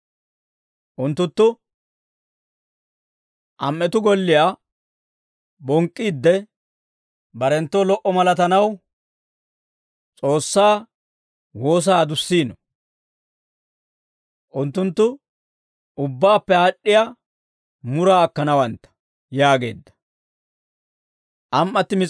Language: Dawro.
Unttunttu am"etuu golliyaa bonk'k'iidde, barenttoo lo"a malatanaw S'oossaa woosaa adussiino; unttunttu ubbaappe aad'd'iyaa muraa akkanawantta» yaageedda.